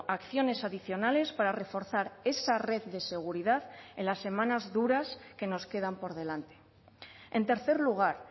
acciones adicionales para reforzar esa red de seguridad en las semanas duras que nos quedan por delante en tercer lugar